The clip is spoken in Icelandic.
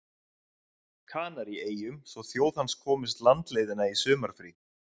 Kanaríeyjum svo þjóð hans komist landleiðina í sumarfrí.